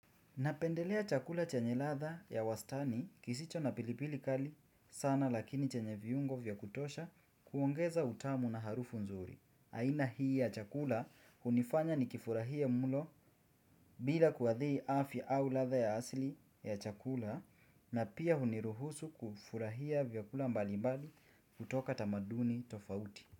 Napendelea chakula chenye ladha ya wastani kisicho na pilipili kali sana lakini chenye viungo vya kutosha kuongeza utamu na harufu nzuri. Aina hii ya chakula hunifanya nikifurahie mulo bila kuadhiri afya au ladha ya asili ya chakula na pia huniruhusu kufurahia vyakula mbali mbali kutoka tamaduni tofauti.